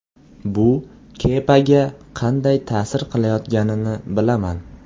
Bu Kepaga qanday ta’sir qilayotganini bilaman.